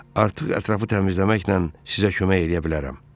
Artıq ətrafı təmizləməklə sizə kömək eləyə bilərəm.